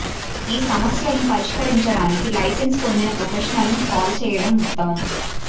ఈ సమస్యలను పరిష్కరించడానికి లైసెన్స్ పొందిన ప్రొఫెషనల్ను కాల్ చేయడం ఉత్తమం